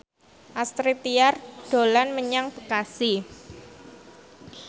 Astrid Tiar dolan menyang Bekasi